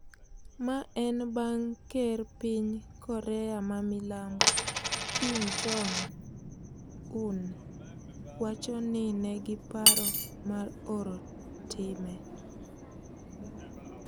Mae en bang' ker piny Korea ma Milambo Kim Jong Un wachoni nengi paro mar oro time